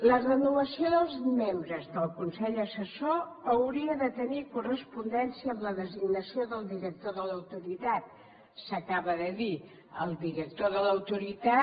la renovació dels membres del consell assessor hauria de tenir correspondència amb la designació del director de l’autoritat s’acaba de dir el director de l’autoritat